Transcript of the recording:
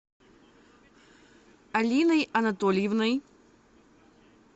алиной анатольевной